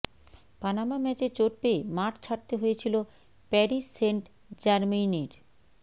Panama ম্যাচে চোট পেয়ে মাঠ ছাড়তে হয়েছিল প্যারিস সেন্ট জার্মেইনের